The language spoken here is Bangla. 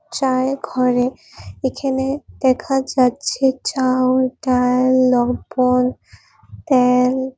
চাএ ঘরে এখেনে দেখা যাচ্ছে চা ও ডাল লবন তেল।